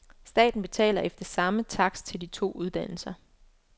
Staten betaler efter samme takst til de to uddannelser.